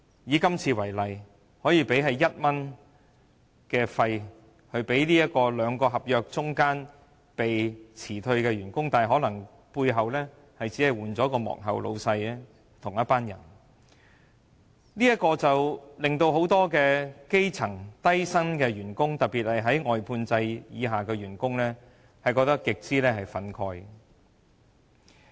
以今次為例，外判商用1元來遣散兩份合約之間被辭退的員工，但其實幕後僱主可能是同一班人，令到很多低薪的基層員工，特別是外判制的員工極為憤慨。